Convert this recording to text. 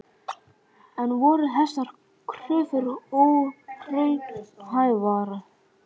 En voru þessar kröfur óraunhæfar?